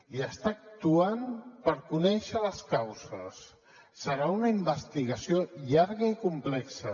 i està actuant per conèixer les causes serà una investigació llarga i complexa